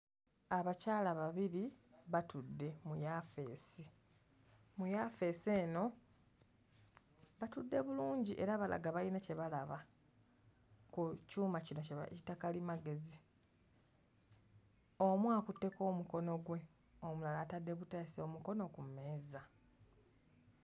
Abakyala babiri batudde mu yafeesi, mu yafeesi eno batudde bulungi era balaga bayina kye balaba ku kyuma kino kye bayita kalimagezi, omu akutteko omukono gwe, omulala atadde buteesi omukono ku mmeeza.